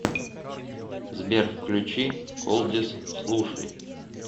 сбер включи колдиш слушай